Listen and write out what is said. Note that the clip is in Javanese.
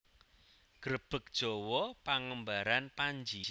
Grebeg Jawa pengembaraan Panji